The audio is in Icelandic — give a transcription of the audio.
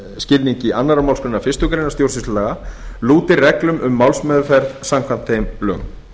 skilningi annarrar málsgreinar stjórnsýslulaga lúti reglum um málsmeðferð samkvæmt þeim lögum